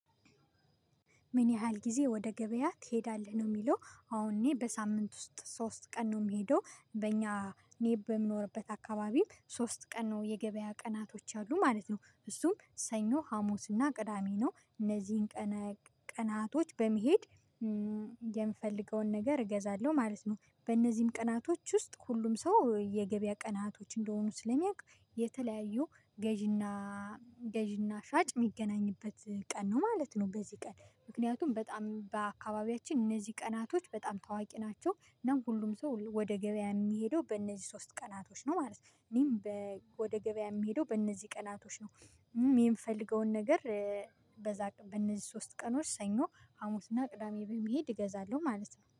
ምን ያህል ጊዜ ወደ ገበያ ትሄዳለህ ነው የሚለው? አሁን እኔ በሳምንት ውስጥ ሶስት ቀን ነው የምሄደው። በእኛ እኔ በምኖርበት አካባቢ ሶስት ቀን ነው የገበያ ቀናቶች ያሉ ማለት ነው። እሱም ሰኞ ሀሙስና ቅዳሜ ነው። እነዚህን ቀናቶች በመሄድ የምፈልገውን ነገር እገዛለሁ ማለት ነው። በእነዚህም ቀናቶች ውስጥ ሁሉም ሰው የገበያ ቀናቶች እንደሆኑ ስለሚያውቅ የተለያዩ ገዢና ገዢና ሻጭ የሚገናኝበት ቀን ነው ማለት ነው። በዚህ ቀን ምክንያቱም በጣም በአካባቢያችን እነዚህ ቀናቶች በጣም ታዋቂ ናቸው። እና ሁሉም ሰው ወደ ገበያ የሚሄደው በእነዚህ ሶስት ቀናቶች ነው ማለት ነው። እኔም ወደ ገበያ የሚሄደው በእነዚህ ቀናቶች ነው። የምፈልገውን ነገር በነዚህ ሶስት ቀኖች ሰኞ ሀሙስና ቅዳሜ በመሄድ እገዛለሁ ማለት ነው